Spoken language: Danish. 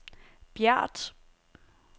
Bjert